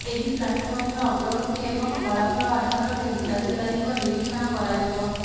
ଏହି ପ୍ଲାଟଫର୍ମର ଅଗ୍ରଗତି ଏବଂ ଫଳାଫଳ ଆଧାରରେ ହିତାଧିକାରୀଙ୍କ ନିରୀକ୍ଷଣ କରାଯିବ